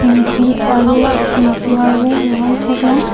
thengpi aro thengpi arvo lahai theklong.